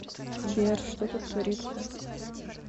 сбер что тут творится